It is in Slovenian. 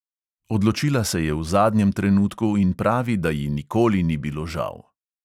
Odločila se je v zadnjem trenutku in pravi, da ji nikoli ni bilo žal.